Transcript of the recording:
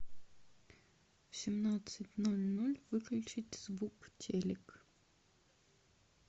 в семнадцать ноль ноль выключить звук телик